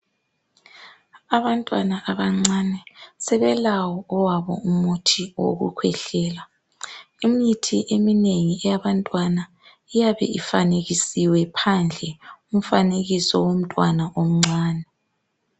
Abantwana abancane, sebelawo owabo umuthi owokukhwehlela. Imithi eminengi eyabantwana, iyabe ifanekisiwe phandle umfanekiso womntwana omncan.